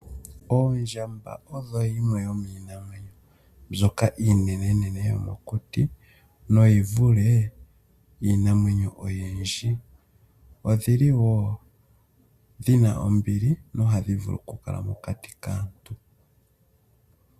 Oondjamba odho yimwe yomiinamwenyo mbyoka iinene nene yomokuti na oyivule iinamwenyo oyindji, odhili wo dhina ombili na ohadhi vulu okukala mokati kaantu.